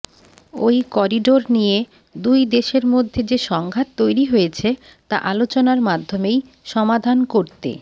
ওই করিডোর নিয়ে দুই দেশের মধ্যে যে সংঘাত তৈরি হয়েছে তা আলোচনার মাধ্যমেই সমাধান করতে